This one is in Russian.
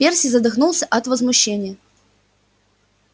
перси задохнулся от возмущения